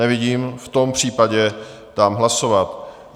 Nevidím, v tom případě dám hlasovat.